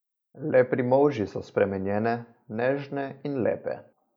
Le pri molži so spremenjene, nežne in lepe.